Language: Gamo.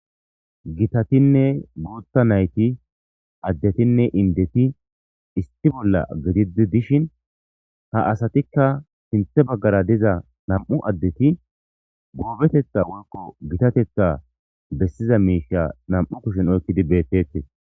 Gitatinne guuththa nayti addetinne indeti issi bolla gididi dishin ha asatikka sinthe baggara diza nam'u addeti goobetetha woykko gittatetha bessiza miishsha nam'u kushen oykkidi beettettes